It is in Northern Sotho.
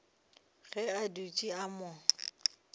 ge a dutše a mo